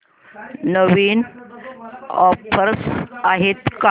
नवीन offers आहेत का